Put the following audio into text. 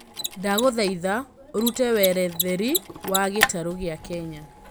ndagũthaĩtha ũrũte weretheri wa gĩtarũ gĩa kenya